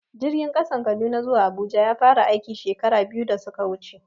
Jirgin ƙasan Kaduna zuwa Abuja ya fara aiki, shekara biyu da suka wuce.